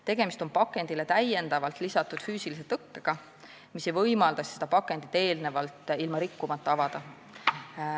Tegemist on pakendile täiendavalt lisatud füüsilise tõkkega, mis ei võimalda pakendit ilma seda rikkumata avada.